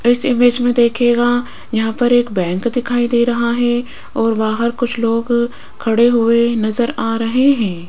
इस इमेज में देखिएगा यहां पर एक बैंक दिखाई दे रहा है और बाहर कुछ लोग खड़े हुए नजर आ रहे हैं।